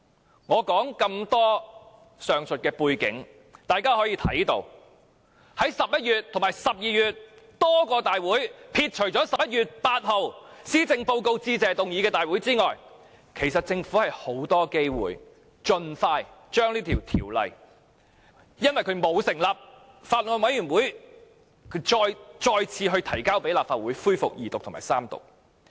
從我以上所說的背景，大家可以看到，在11月和12月多個大會上，撇除11月8日留作辯論施政報告致謝議案的大會之外，其實政府有很多機會可以盡快將這項沒有成立法案委員會審議的條例草案再提交立法會恢復二讀及三讀。